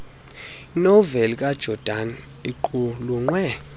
noveli kajordan iqulunqwe